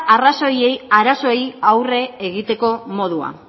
arazoei aurre egiteko modua